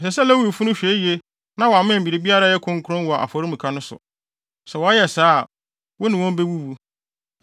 Ɛsɛ sɛ Lewifo no hwɛ yiye na wɔammɛn biribiara a ɛyɛ kronkron wɔ afɔremuka no so. Sɛ wɔyɛ saa a, wo ne wɔn bewuwu.